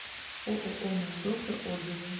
ооо наш доктор отзывы